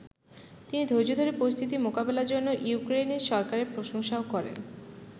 তিনি ধৈর্য ধরে পরিস্থিতি মোকাবেলার জন্য ইউক্রেনের সরকারের প্রশংসাও করেন।